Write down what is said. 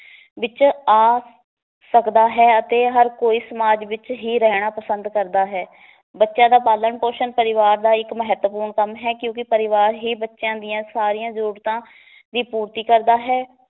ਵਿਚ ਆ ਸਕਦਾ ਹੈ ਅਤੇ ਹਰ ਕੋਈ ਸਮਾਜ ਵਿਚ ਹੀ ਰਹਿਣਾ ਪਸੰਦ ਕਰਦਾ ਹੈ ਬੱਚਿਆਂ ਦਾ ਪਾਲਣ ਪੋਸ਼ਣ ਪਰਿਵਾਰ ਦਾ ਇੱਕ ਮਹੱਤਵਪੂਰਨ ਕੰਮ ਹੈ ਕਿਉਂਕਿ ਪਰਿਵਾਰ ਹੀ ਬੱਚਿਆਂ ਦੀਆਂ ਸਾਰੀਆਂ ਜਰੂਰਤਾਂ ਦੀ ਪੂਰਤੀ ਕਰਦਾ ਹੈ